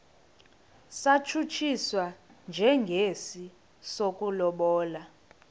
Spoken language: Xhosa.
satshutshiswa njengesi sokulobola